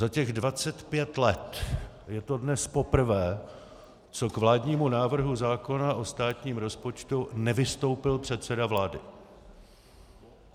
Za těch 25 let je to dnes poprvé, co k vládnímu návrhu zákona o státním rozpočtu nevystoupil předseda vlády.